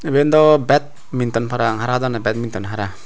iben dw badminton parapang badminton hara.